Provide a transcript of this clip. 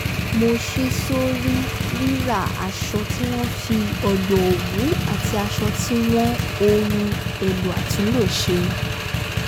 mo ṣí sórí ríra aṣọ tí wọ́n fi o̩gbọ̀ òwú àti as̩o̩ tí wọ́n ohun èlò àtúnlò s̩e